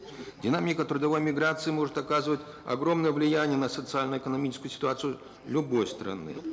динамика трудовой миграции может оказывать огромное влияние на социально экономическую ситуацию любой страны